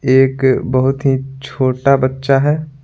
एक बहुत ही छोटा बच्चा है।